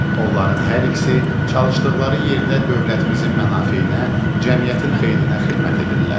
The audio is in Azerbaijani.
Onların hər ikisi çalışdıqları yerdə dövlətimizin mənafeyinə, cəmiyyətin xeyrinə xidmət edirlər.